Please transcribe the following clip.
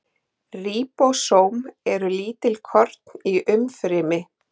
Ríbósóm eru lítil korn í umfrymi.